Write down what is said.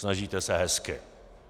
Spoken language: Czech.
Snažíte se hezky.